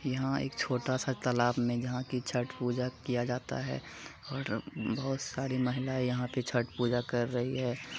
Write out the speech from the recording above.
यहाँ एक छोटा-सा तालाब में है जहाँ पर छठ पूजा किया जाता है और बहुत सारी महिलाए यहाँ पे छठ पूजा कर रही है।